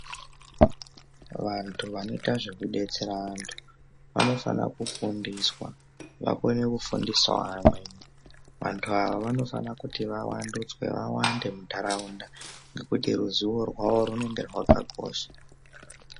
Vantu vanoita zveku betsera vantu vano fana kufundiswa vakone kufundisawo amweni vantu ava vano fana kuti va wanduswe vawande mundaraunda ngekuti ruzivo rwavo rwunenge rwaka kosha .